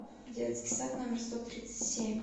детский сад номер сто тридцать семь